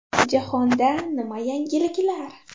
Jahonda nima yangiliklar?